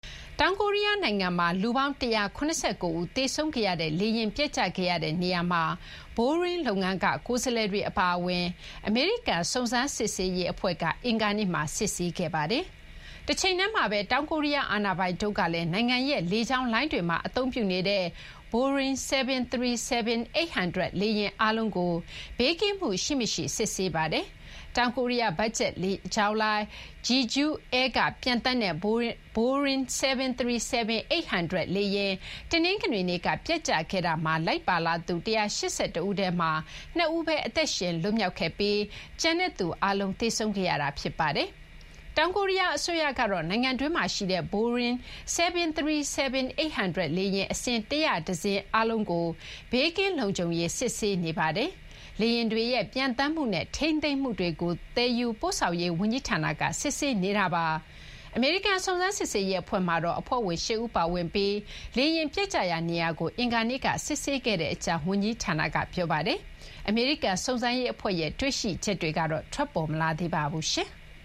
တောင်ကိုရီးယား နိုင်ငံမှာ လူပေါင်း ၁၇၉ ဦး သေဆုံးခဲ့ရတဲ့ လေယာဉ် ပျက်ကျခဲ့တဲ့ နေရာမှာ ဘိုရင်း လုပ်ငန်းက ကိုယ်စားလှယ်တွေ အပါအဝင် အမေရိကန် စုံစမ်းစစ်ဆေးရေး အဖွဲ့က အင်္ဂါနေ့မှာ စစ်ဆေးခဲ့ပါတယ်။ တချိန်တည်းမှာပဲ တောင်ကိုရီးယား အာဏာပိုင်တို့ကလည်း နိုင်ငံရဲ့ လေကြောင်းလိုင်းတွေမှာ အသုံးပြုနေတဲ့ ဘိုးရင်း 737-800 လေယာဉ် အားလုံးကို ဘေးကင်းမှု ရှိမရှိ စစ်ဆေးခဲ့ပါတယ်။ တောင်ကိုရီးယား ဘတ်ဂျက် လေကြောင်းလိုင်း Jeju Air က ပျံသန်းတဲ့ ဘိုရင်း 737-800 လေယာဉ် တနင်္ဂနွေနေ့က ပျက်ကျခဲ့တာမှာ လိုက်ပါလာသူ ၁၈၁ ဦးထဲမှာ ၂ ဦးသာ အသက်ရှင် လွတ်မြောက်ပြီး ကျန်တဲ့သူ အားလုံး သေဆုံးခဲ့ရတာပါ။ တောင်ကိုရီးယား အစိုးရကတော့ နိုင်ငံတွင်းမှာ ရှိတဲ့ ဘိုးရင်း 737-800 လေယာဉ် အစင်း ၁၀၁ စင်း အားလုံးကို ဘေးကင်း လုံခြံရေး စစ်ဆေးနေပါတယ်။ လေယာဉ်တွေရဲ့ ပျံသန်းမှုနဲ့ ထိန်းသိမ်းမှု တွေကို သယ်ယူပို့ဆောင်ရေး ဝန်ကြီးဌာနက စစ်ဆေးနေတာ ဖြစ်ပါတယ်။ အမေရိကန် စုံစမ်းစစ်ဆေးရေး အဖွဲ့မှာတော့ အဖွဲ့ဝင် ၈ ဦး ပါဝင်ပြီး လေယာဉ် ပျက်ကျရာ နေရာကို အင်္ဂါနေ့က စစ်ဆေးခဲ့ကြကြောင်း ဝန်ကြီးဌာနက ပြောပါတယ်။ အမေရိကန် စုံစမ်းရေးအဖွဲ့ရဲ့ တွေ့ရှိချက်တွေတော့ ထွက်ပေါ်မလာသေးပါဘူး။